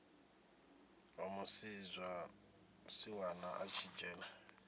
wa musiwana a tshi dzhena